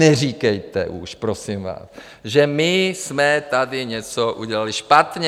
Neříkejte už, prosím vás, že my jsme tady něco udělali špatně.